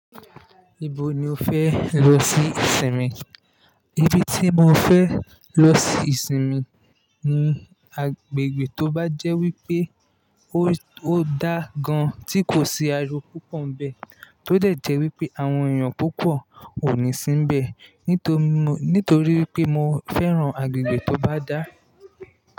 Ibo ni o fẹ lọ sí ìsinmi? Ibi tí mo fẹ lọ sí ìsinmi ni agbègbè tó bá jẹ́ wípé ó dá gan tí kò sí ariwo púpọ̀ nbẹ tó dẹ̀ jẹ́ wípé àwọn èèyàn púpọ̀ ò ní sí bẹ, nítorí wípé mo fẹ́ran agbègbè tó bá dá.